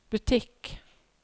butikk